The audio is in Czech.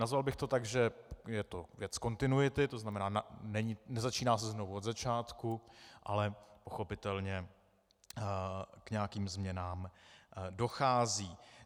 Nazval bych to tak, že to je věc kontinuity, to znamená, nezačíná se znovu od začátku, ale pochopitelně k nějakým změnám dochází.